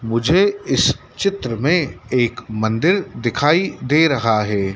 मुझे इस चित्र में एक मंदिर दिखाई दे रहा है।